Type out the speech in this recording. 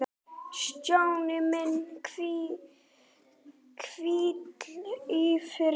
Stjáni minn, hvíl í friði.